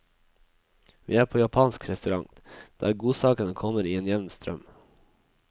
Vi er på japansk restaurant, der godsakene kommer i en jevn strøm.